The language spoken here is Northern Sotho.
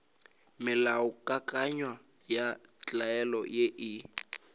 melaokakanywa ya tlwaelo ye e